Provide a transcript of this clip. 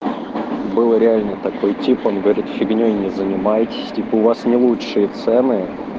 было реально такой типа он говорит фигней не занимаетесь типа у вас не лучшей цены